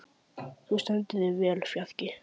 Þú stendur þig vel, Fjarki!